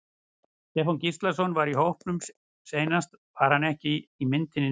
Stefán Gíslason var í hópnum seinast var hann ekki í myndinni núna?